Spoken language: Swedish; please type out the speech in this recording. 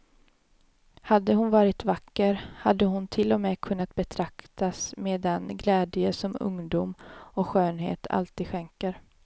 Hade hon varit vacker hade hon till och med kunnat betraktas med den glädje som ungdom och skönhet alltid skänker.